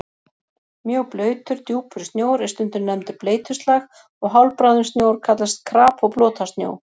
Mjög blautur, djúpur snjór er stundum nefndur bleytuslag og hálfbráðinn snjór kallast krap og blotasnjó.